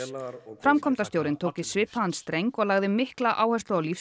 framkvæmdastjórinn tók í svipaðan streng og lagði mikla áherslu á